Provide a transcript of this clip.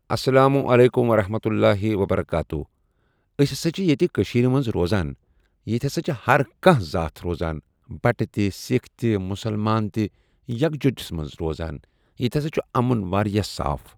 السلام عليكم ورحمة الله وبركاته أسۍ ہسا چھِ ییٚتہِ کٔشیٖرِ منٛز روزان ییٚتہِ ہسا چھِ ہر کانٛہہ ذات روزان بٹہٕ تہِ سِکھ تہِ مسلمان تہِ یِکھ جوتس منٛز روزان ییٚتہِ ہسا چھُ امُن واریاہ صاف۔